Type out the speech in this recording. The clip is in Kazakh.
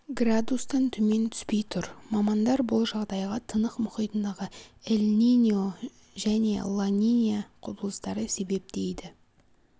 градустан төмен түспей тұр мамандар бұл жағдайға тынық мұхитындағы эль-ниньо және ла-нинья құбылыстары себеп дейді